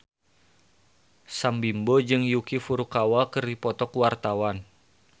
Sam Bimbo jeung Yuki Furukawa keur dipoto ku wartawan